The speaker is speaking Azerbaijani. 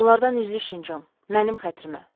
Onlardan üzlüşün, Con, mənim xətrimə.